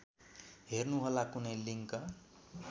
हेर्नुहोला कुनै लिङ्क